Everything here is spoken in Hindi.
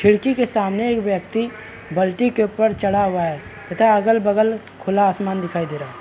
खिड़की के सामने एक व्यक्ति बल्टी के ऊपर चढ़ा हुआ है तथा अगल बगल खुला अस्मान दिखाई दे रहा है।